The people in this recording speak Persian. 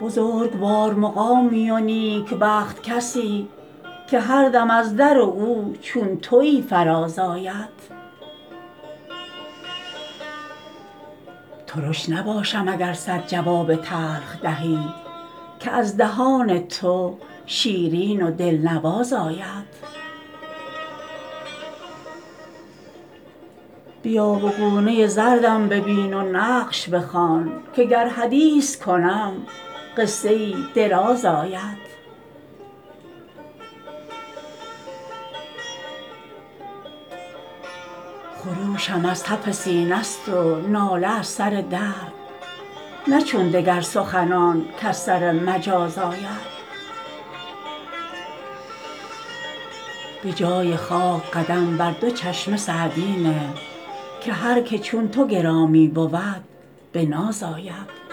بزرگوار مقامی و نیکبخت کسی که هر دم از در او چون تویی فراز آید ترش نباشم اگر صد جواب تلخ دهی که از دهان تو شیرین و دلنواز آید بیا و گونه زردم ببین و نقش بخوان که گر حدیث کنم قصه ای دراز آید خروشم از تف سینه ست و ناله از سر درد نه چون دگر سخنان کز سر مجاز آید به جای خاک قدم بر دو چشم سعدی نه که هر که چون تو گرامی بود به ناز آید